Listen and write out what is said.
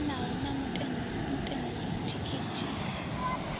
linganaho na mutengo wa thikhithi